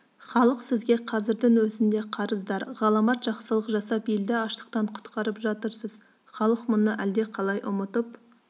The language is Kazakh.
халық сізге қазірдің өзінде қарыздар ғаламат жақсылық жасап елді аштықтан құтқарып жатырсыз халық мұны әлдеқалай ұмытып